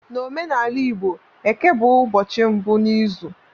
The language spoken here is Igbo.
N'omenala igbo Eke bụ ụbọchị mbụ n'izu